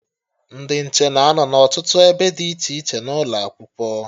Ndị nche na-anọ n'ọtụtụ ebe dị iche iche n'ụlọ Akwụkwọ